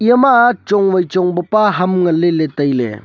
ama chong wai chong pe pa ham ngan leley tailey.